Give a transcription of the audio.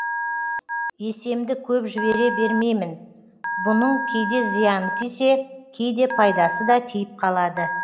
есемді көп жібере бермеймін бұның кейде зияны тисе кейде пайдасы да тиіп қалады